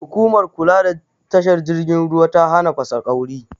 Hukumar kula da tashar jirgin ruwa ta hana fasaƙauri